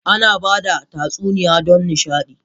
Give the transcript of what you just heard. Ana ba da tatsuniyoyi don nishaɗi.